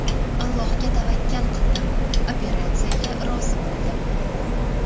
Allohga tavakkal qildim, operatsiyaga rozi bo‘ldim.